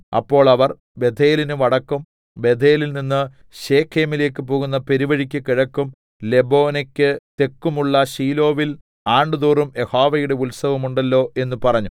അപ്പോൾ അവർ ബേഥേലിന് വടക്കും ബേഥേലിൽനിന്ന് ശെഖേമിലേക്ക് പോകുന്ന പെരുവഴിക്ക് കിഴക്കും ലെബോനെക്ക് തെക്കും ഉള്ള ശീലോവിൽ ആണ്ടുതോറും യഹോവയുടെ ഉത്സവം ഉണ്ടല്ലോ എന്ന് പറഞ്ഞു